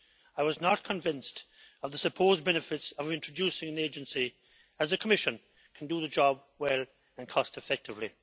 I was not convinced of the supposed benefits of introducing an agency, as the Commission can do the job well and cost-effectively.